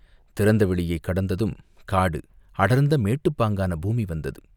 திறந்த வெளியைக் கடந்ததும் காடு அடர்ந்த மேட்டுப் பாங்கான பூமி வந்தது.